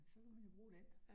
Så kan man jo bruge den